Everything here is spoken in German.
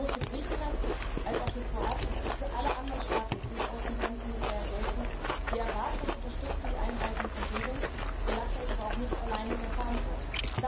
Sowohl für Griechenland als auch für Kroatien als auch für alle anderen Staaten mit EU Außengrenzen muss daher gelten Wir erwarten und unterstützen die Einhaltung von Regeln, wir lassen euch aber auch nicht allein mit der Verantwortung.